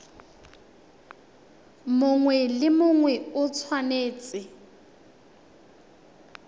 mongwe le mongwe o tshwanetse